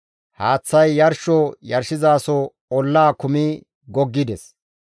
Haaththay yarsho yarshizaso ollaa kumi goggides.